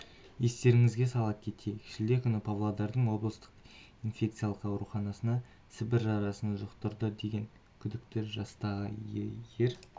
естеріңізге сала кетейік шілде күні павлодардың облыстық инфекциялық ауруханасына сібір жарасын жұқтырды деген күдіктпен жастағы ер